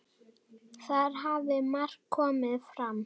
Þar hafi margt komið fram.